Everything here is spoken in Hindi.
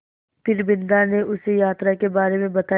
फिर बिन्दा ने उसे यात्रा के बारे में बताया